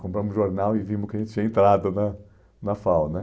compramos o jornal e vimos que a gente tinha entrado né na FAU né